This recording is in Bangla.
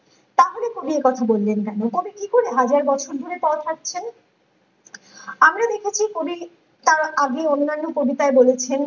তাহলে কবি এই কথা বলবেন না এখানে কি করে হাজার বাঁচার ধরে তাও থাকছেন ।আমরা দেখেছি কবি তার আগে অন্যান্য কবিতায় বলেছেন